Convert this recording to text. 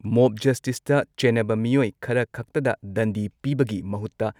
mop ꯖꯁꯇꯤꯁꯇ ꯆꯦꯟꯅꯕ ꯃꯤꯑꯣꯏ ꯈꯔꯈꯛꯇꯗ ꯗꯟꯗꯤ ꯄꯤꯕꯒꯤ ꯃꯍꯨꯠꯇ